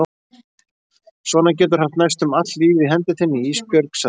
Svona geturðu haft næstum allt lífið í hendi þinni Ísbjörg, sagði pabbi.